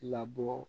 Labɔ